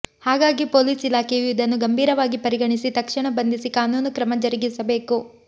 ಹಾಗಾಗಿ ಪೊಲೀಸ್ ಇಲಾಖೆಯು ಇದನ್ನು ಗಂಭೀರವಾಗಿ ಪರಿಗಣಿಸಿ ತಕ್ಷಣ ಬಂಧಿಸಿ ಕಾನೂನು ಕ್ರಮ ಜರಗಿಸಬೇಕು